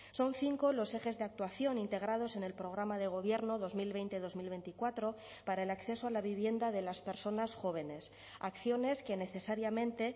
son cinco los ejes de actuación integrados en el programa de gobierno dos mil veinte dos mil veinticuatro para el acceso a la vivienda de las personas jóvenes acciones que necesariamente